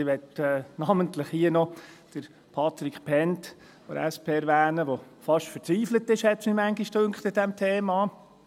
Ich möchte hier namentlich noch Patric Bhend von der SP erwähnen, der an diesem Thema fast verzweifelt ist, schien mir manchmal.